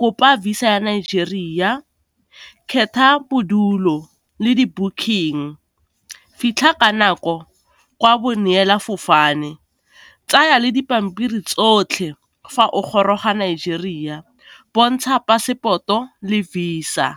kopa visa ya Nigeria, khetha bodulo le di booking, fitlha ka nako kwa bo neela fofane, tsaya le dipampiri tsotlhe fa o goroga Nigeria, bontsha passport-o le visa.